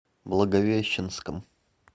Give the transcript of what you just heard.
благовещенском